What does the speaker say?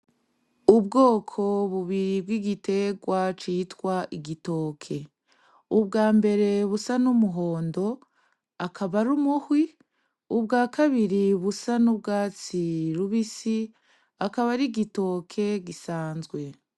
Ubwoko bubiri bwigitegwa citwa igitoke, ubwambere busa numuhondo akaba ari umuhwi ,ubwakabiri busa nubwatsi rubisi akaba arigitoke gisanzwe.